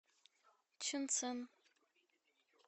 чунцин